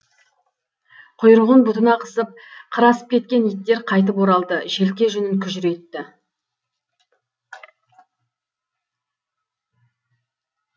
құйрығын бұтына қысып қыр асып кеткен иттер қайтып оралды желке жүнін күжірейтті